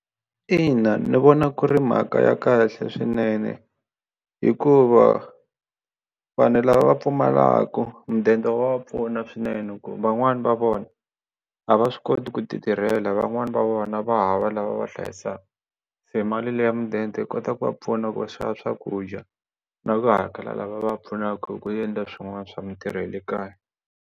Ina ni vona ku ri mhaka ya kahle swinene hikuva vanhu lava va pfumalaka mudende wa pfuna swinene ku van'wani va vona a va swi koti ku titirhela van'wani va vona va hava lava va hlayisaka se mali leyi ya mudende yi kota ku va pfuna ku va xava swakudya na ku hakela lava va pfunaka hi ku endla swin'wana swa mintirho ya le kaya.